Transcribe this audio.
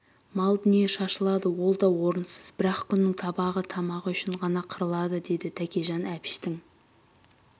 мал дүние шашылады ол да орынсыз бір-ақ күннің табағы тамағы үшін ғана қырылады деді тәкежан әбіштің